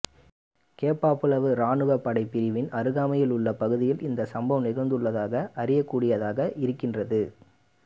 கேப்பாப்புலவு ராணுவ படைப் பிரிவின் அருகாமையில் உள்ள பகுதியில் இந்த சம்பவம் நிகழ்ந்துள்ளதாக அறியக்கூடியதாக இருக்கின்றது